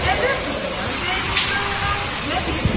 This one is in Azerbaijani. Əvvəl Xudayar bəy durdu ayağa və dedi: